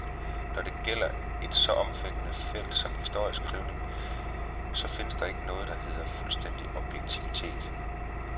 Når det gælder et så omfattende felt som historieskrivningen, så findes der ikke noget, der hedder fuldstændig objektivitet.